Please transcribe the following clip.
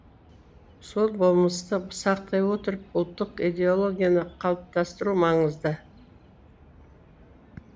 сол болмысты сақтай отырып ұлттық идеологияны қалыптастыру маңызды